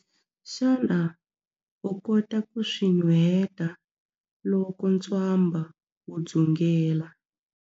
Xana u kota ku swi nuheta loko ntswamba wu dzungela?